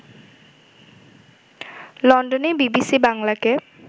লন্ডনে বিবিসি বাংলাকে